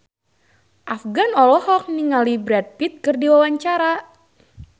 Afgan olohok ningali Brad Pitt keur diwawancara